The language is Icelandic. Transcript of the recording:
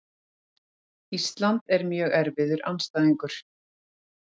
Ísland er mjög erfiður andstæðingur.